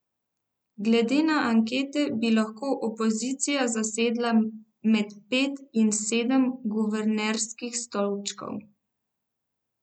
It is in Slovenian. Glede na ankete bi lahko opozicija zasedla med pet in sedem guvernerskih stolčkov.